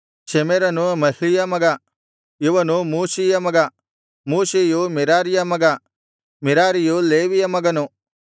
ಶೆಮೆರನು ಮಹ್ಲೀಯ ಮಗ ಇವನು ಮೂಷೀಯ ಮಗ ಮೂಷೀಯು ಮೆರಾರಿಯ ಮಗ ಮೆರಾರಿಯು ಲೇವಿಯ ಮಗನು